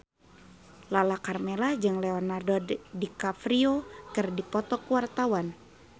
Lala Karmela jeung Leonardo DiCaprio keur dipoto ku wartawan